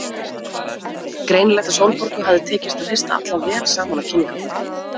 Það var greinilegt að Sólborgu hafði tekist að hrista alla vel saman á kynningarkvöldinu.